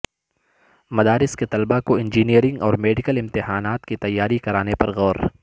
مدارس کے طلبہ کو انجینئرنگ اور میڈیکل امتحانات کی تیاری کرانے پر غور